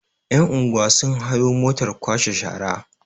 yan'unguwa sun hayo motar kwashe shara